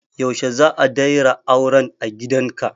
Yaushe za a dayra auren a gidanka?